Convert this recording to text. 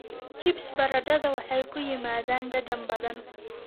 Chips baradhada waxay ku yimaadaan dhadhan badan.